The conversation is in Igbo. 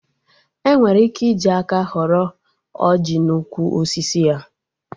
Enwere ike iji aka ghọrọ ọjị n'ukwu osisi ya